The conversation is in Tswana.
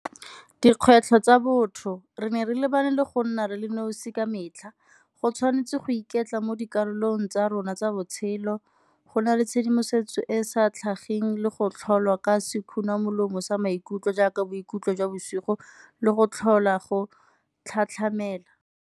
Dikgwetlho tsa botho, re ne re lebane le go nna re le nosi ka metlha go tshwanetse go iketla mo dikarolong tsa rona tsa botshelo, go na le tshedimosetso e e sa tlhageng le go tlholwa ka molomo sa maikutlo jaaka boikutlo jwa bosigo le go tlhola go tlhatlhamela.